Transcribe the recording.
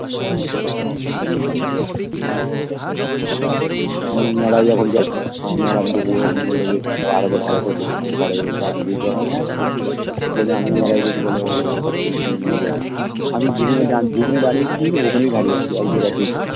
মেলায় যখন গেছে মেলায় তো ওরকম বলে যে বলে আমি মেলায় গেছি বলে ও ওইখানে নাকি গেছে আমি যেখানে আমি যেখানে দাড়িয়েছি ওখানেই দাড়িয়ে আছে একজায়গা তেই